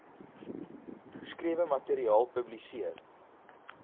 geskrewe materiaal publiseer